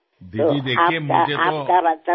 દીદી જુઓ મને તો